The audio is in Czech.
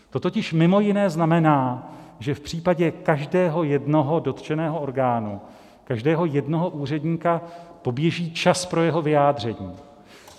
To totiž mimo jiné znamená, že v případě každého jednoho dotčeného orgánu, každého jednoho úředníka, poběží čas pro jeho vyjádření.